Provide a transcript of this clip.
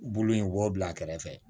Bulu in b'o bila a kɛrɛfɛ